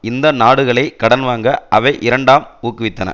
இந்த நாடுகளை கடன் வாங்க அவை இரண்டாம் ஊக்குவித்தன